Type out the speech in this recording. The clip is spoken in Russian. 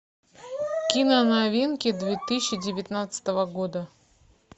кино новинки две тысячи девятнадцатого года